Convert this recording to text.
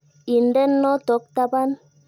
Inden notok tapan.